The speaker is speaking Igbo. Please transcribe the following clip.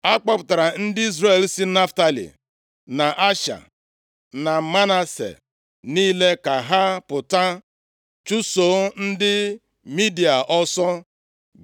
A kpọpụtara ndị Izrel si Naftalị, na Asha na Manase niile ka ha pụta chụso ndị Midia ọsọ.